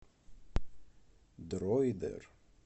дройдер